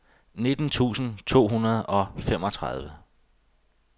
nitten tusind to hundrede og femogtredive